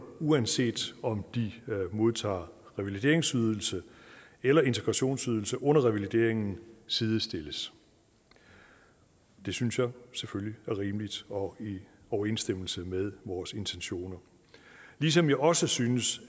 uanset om de modtager revalideringsydelse eller integrationsydelse under revalideringen sidestilles det synes jeg selvfølgelig er rimeligt og i overensstemmelse med vores intentioner ligesom jeg også synes